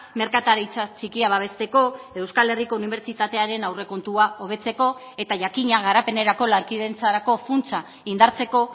merkataritza txikia babesteko euskal herriko unibertsitatearen aurrekontua hobetzeko eta jakina garapenerako lankidetzarako funtsa indartzeko